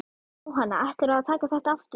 Jóhanna: Ætlarðu að taka þetta aftur?